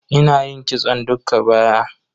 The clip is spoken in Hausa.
Ina yin kitson dukka baya.